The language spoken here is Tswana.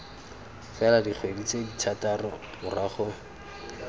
fela dikgwedi tse thataro morago